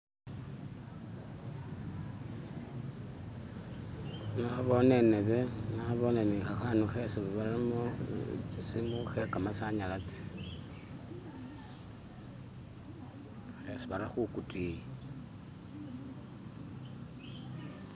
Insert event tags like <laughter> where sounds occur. "<skip>" nabone inebe nabone ni khakhanu khesi baramo tsisimu khekamasanyalazi "<skip>" khesi bara khukutiyi.